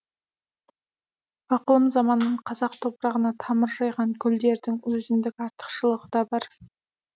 ықылым заманнан қазақ топырағына тамыр жайған гүлдердің өзіндік артықшылығы да бар